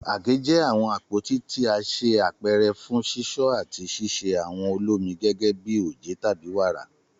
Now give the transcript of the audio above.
Àgé jẹ awọn apoti ti a ṣe apẹrẹ fun sisọ ati ṣiṣe awọn olomi gẹgẹbi oje tabi wara.